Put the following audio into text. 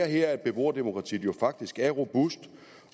her at beboerdemokratiet jo faktisk er robust